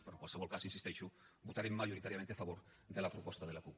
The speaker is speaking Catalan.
però en qualsevol cas hi insisteixo votarem majoritàriament a favor de la proposta de la cup